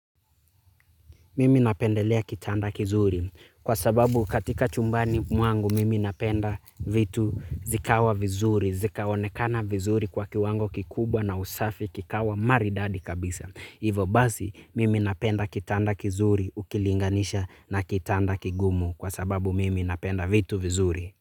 Mimi napendelea kitanda kizuri kwa sababu katika chumbani mwangu mimi napenda vitu zikawa vizuri zikaonekana vizuri kwa kiwango kikubwa na usafi kikawa maridadi kabisa. Hivo basi mimi napenda kitanda kizuri ukilinganisha na kitanda kigumu kwa sababu mimi napenda vitu vizuri.